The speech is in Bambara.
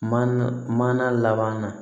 Mana mana laban na